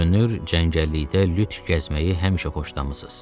Görünür, cəngəllikdə lüt gəzməyi həmişə xoşlamısız.